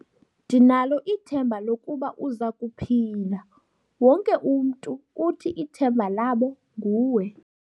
Ndinalo ithemba lokuba uza kuphila. wonke umntu uthi ithemba labo nguwe